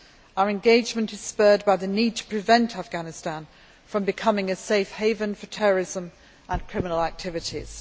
Our engagement is spurred by the need to prevent Afghanistan becoming a safe haven for terrorism and criminal activities.